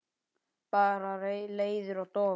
Bara leiður og dofinn.